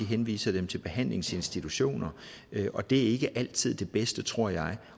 henviser dem til behandlingsinstitutioner og det er ikke altid det bedste tror jeg